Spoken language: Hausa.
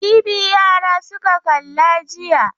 TV yara suka kalla jiya.